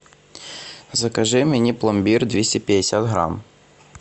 закажи мне пломбир двести пятьдесят грамм